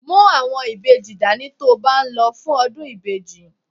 Mú àwọn ìbejì dání ti o ba n lo fún ọdún ìbejì.